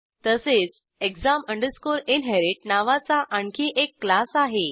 तसेच exam inherit नावाचा आणखी एक क्लास आहे